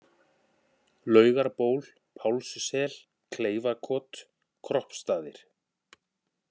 Laugarból, Pálssel, Kleifakot, Kroppstaðir